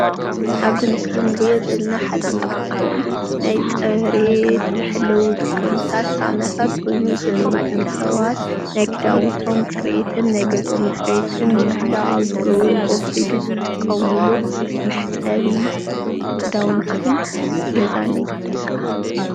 ኣብ እዚ ምስሊ እንሪኦ ዘለና ሓደ ካብቶም ናይ ፅሬት መሐለዊ ዝኾኑ ሳምናታት ኮይኑ እዚ ድማ ደቂ ሰባት ናይ ክዳውንቶም ፅሬትን ናይ ገዝኦም ፅሬትን ንምሕላው ኣብ ዝገብርዎ ከይዲ ዝጥቀምሉ መሕፀቢ ክዳውንትን ገዛን እዩ፡፡